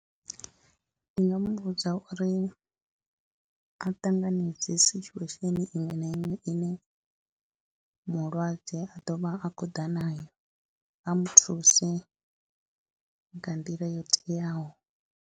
Ndi nga mu vhudza uri a ṱanganedze situation iṅwe na iṅwe ine mulwadze a ḓo vha a khou ḓa nayo, a mu thuse nga nḓila yo teaho.